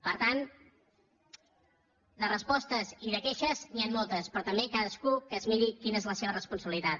per tant de respostes i de queixes n’hi han moltes però també cadascú que es miri quina és la seva responsabilitat